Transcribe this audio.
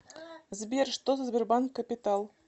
сбер что за сбербанк капитал